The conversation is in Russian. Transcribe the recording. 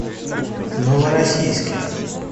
новороссийске